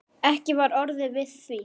Ekki var orðið við því.